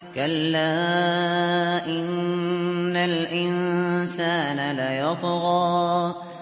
كَلَّا إِنَّ الْإِنسَانَ لَيَطْغَىٰ